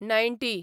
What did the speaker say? ninety